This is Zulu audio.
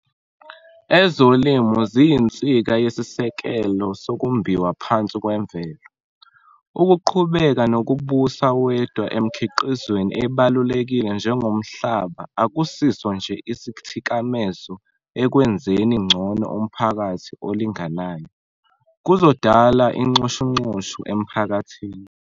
Ezolimo ziyinsika yesisekelo sokumbiwa phansi kwemvelo. Ukuqhubeka nokubusa wedwa emikhiqizweni ebalulekile njengomhlaba akusiso nje isithikamezo ekwenzeni ngcono umphakathi olinganayo, kuzodala inxushunxushu emphakathini.